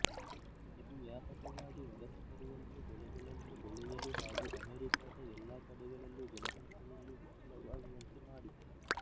ಇದು ವ್ಯಾಪಕವಾಗಿ ವಲಸೆಬರುವಂತೆ ಬೆಳೆಗಳನ್ನು ಬೆಳೆಯಲು ಹಾಗು ಅಮೆರಿಕದ ಎಲ್ಲಾ ಕಡೆಗಳಲ್ಲೂ ಜನಸಂಖ್ಯೆಯಲ್ಲಿ ಹೆಚ್ಚಳವಾಗುವಂತೆ ಮಾಡಿತು